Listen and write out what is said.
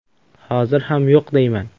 Hozir ham yo‘q deyman.